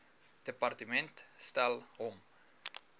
departement stel hom